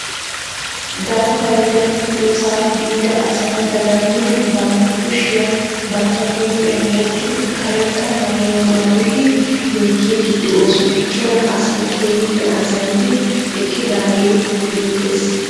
Daafay gakkidoosaa biida asay dagammidi bantta kushiyaa bantta huuphphiyan wottidi karetta mayuwaa maayidi yeekkiidi de'oosna. Cora asay keehippe azanidi eqqidaagee beettees.